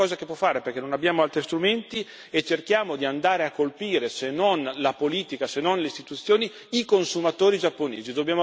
È l'unica cosa che può fare, perché non abbiamo altri strumenti, e cerchiamo di andare a colpire, se non la politica, se non le istituzioni, i consumatori giapponesi.